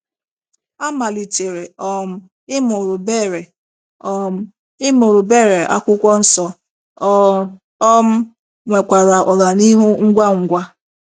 A malitere um ịmụrụ Beere um ịmụrụ Beere akwụkwọ nsọ, o um nwekwara ọganihu ngwa ngwa.